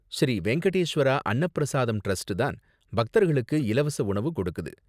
Sri Venkateswara Anna Prasadam trust தான் பக்தர்களுக்கு இலவச உணவு கொடுக்குது.